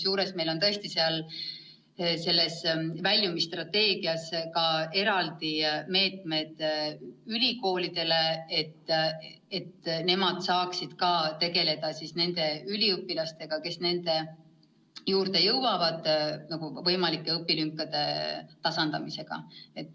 Ja meil on tõesti väljumisstrateegias ka eraldi meetmed ülikoolidele, et nad saaksid tegeleda nende üliõpilastega, kes nende juurde jõuavad, ja tasandada nende võimalikke õpilünkasid.